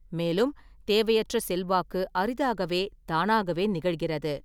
மேலும், தேவையற்ற செல்வாக்கு அரிதாகவே தானாகவே நிகழ்கிறது.